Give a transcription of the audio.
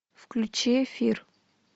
включи эфир